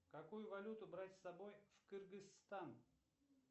какую валюту брать с собой в кыргызстан